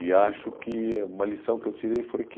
E acho que uma lição que eu tirei foi que